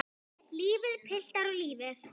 Lífið, piltar, lífið.